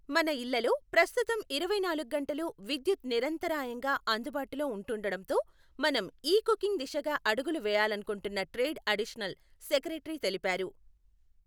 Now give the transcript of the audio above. మన ఇళ్లలో ప్రస్తుతం ఇరవైనాలుగు గంటలూ విద్యుత్ నిరంతరాయంగా అందుబాటులో ఉంటుండడంతో మనం ఈ కుకింగ్ దిశగా అడుగులు వేయాలనుకుంటున్న ట్రేడ్ అడిషనల్ సెక్రటరీ తెలిపారు.